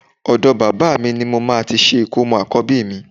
Ọ̀dọ bàbá mi ní mo máa ti ṣe ìkómọ àkọ́bí mi